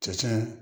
Cɛncɛn